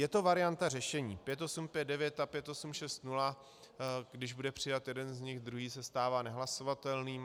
Je to varianta řešení, 5859 a 5860, když bude přijat jeden z nich, druhý se stává nehlasovatelným.